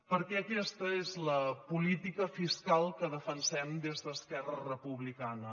perquè aquesta és la política fiscal que defensem des d’esquerra republicana